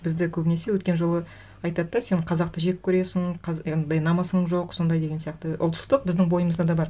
бізді көбінесе өткен жолы айтады да сен қазақты жек көресің намысың жоқ сондай деген сияқты ұлтшылдық біздің бойымызда да бар